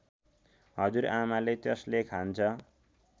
हजुरआमाले त्यसले खान्छ